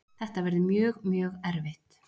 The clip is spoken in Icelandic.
Þetta verður mjög, mjög erfitt.